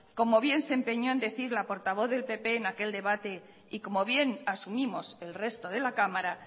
como bien se empeño en decir la portavoz del pp en aquel debate y como bien asumimos el resto de la cámara